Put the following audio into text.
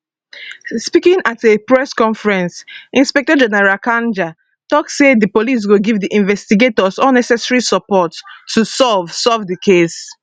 speaking at a press conference inspector general kanja tok say di police go give di investigators all necessary support to solve solve di case